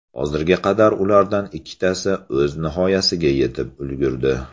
Hozirga qadar ulardan ikkitasi o‘z nihoyasiga yetib ulgurdi.